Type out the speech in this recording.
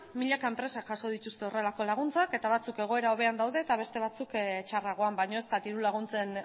milaka enpresak jaso dituzte horrelako laguntzak eta batzuk egoera hobean daude eta beste batzuk txarragoan baino ez da diru laguntzen